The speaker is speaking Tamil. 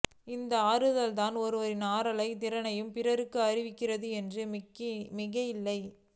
இந்த ஆற்றல்தான் ஒருவரின் ஆற்றல் திறனை பிறருக்கு அறிவிக்கிறது என்றால் மிகையில்லை